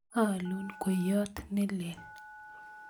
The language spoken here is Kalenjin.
aalun kweyet ne lel